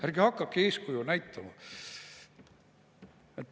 Ärge hakake eeskuju näitama!